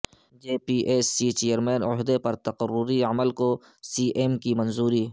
جے P S C chairman عہدہ پر تقرری عمل کوسی ایم کی منظوری